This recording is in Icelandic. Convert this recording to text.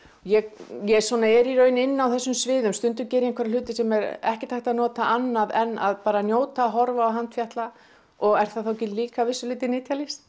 ég ég svona er í raun inni á þessum sviðum stundum geri ég einhverja hluti sem er ekkert hægt að nota annað en bara að njóta og horfa og handfjatla og er það þá ekki líka að vissu leyti nytjalist